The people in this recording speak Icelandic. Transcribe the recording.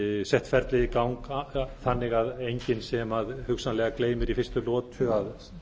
sett ferlið í gang þannig að enginn sem hugsanlega gleymir í fyrstu lotu að